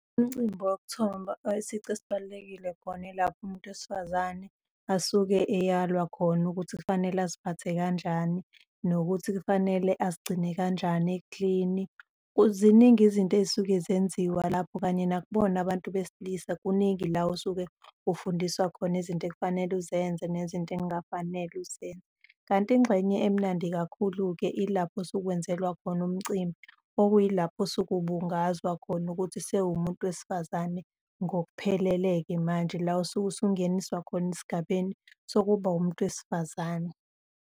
Imicimbi wokuthombha isici esibalulekile khona yilapho umuntu wesifazane asuke eyalwa khona ukuthi kufanele aziphathe kanjani nokuthi kufanele azigcine kanjani eklini. Ziningi izinto ey'suke zenziwa lapho kanye nakubona abantu besilisa, kuningi la osuke ufundiswa khona izinto ekufanele uzenze nezinto ekungafanele uzenze. Kanti ingxenye emnandi kakhulu-ke ilapho osukwenzelwa khona umcimbi, okuyilapho osuke ubungazwa khona ukuthi sewumuntu wesifazane ngokuphelele-ke manje, la usuke usungeniswa khona esigabeni sokuba wumuntu wesifazane.